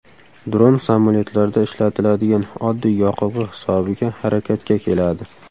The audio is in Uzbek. Dron samolyotlarda ishlatiladigan oddiy yoqilg‘i hisobiga harakatga keladi.